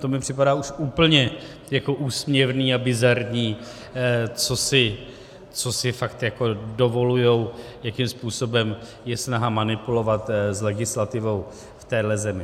To mi připadá už úplně úsměvné a bizarní, co si fakt dovolují, jakým způsobem je snaha manipulovat s legislativou v téhle zemi.